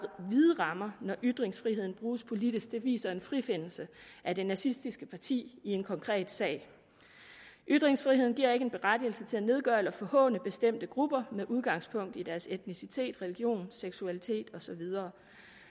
vide rammer når ytringsfriheden bruges politisk det viser en frifindelse af det nazistiske parti i en konkret sag ytringsfriheden giver ikke en berettigelse til at nedgøre eller forhåne bestemte grupper med udgangspunkt i deres etnicitet religion seksualitet og så videre